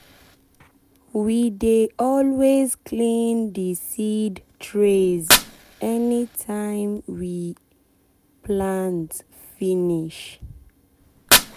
we dey always clean the seed trays anytime we anytime we plant finish.